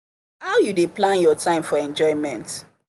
how you dey plan your time for enjoyment?